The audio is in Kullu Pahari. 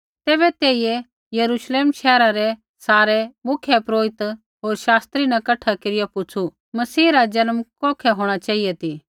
तैबै तेइयै यरूश्लेम शैहरा रै सारै मुख्यपुरोहिता होर शास्त्रियै न कठै केरिया पुछ़ू मसीह रा जन्म कौखै होंणा चेहिऐ ती